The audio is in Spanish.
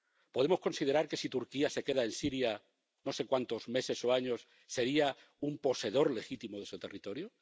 ¿Podemos considerar que, si Turquía se queda en Siria, no sé cuántos meses o años, sería un poseedor legítimo de ese territorio?